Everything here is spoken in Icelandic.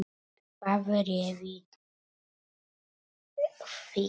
Hvað réði því?